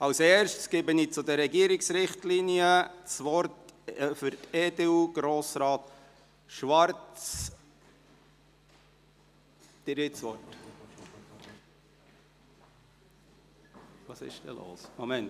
Zuerst gebe ich zum Ordnungsantrag betreffend die Regierungsrichtlinien Grossrat Schwarz für die EDU das Wort.